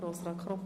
der BaK.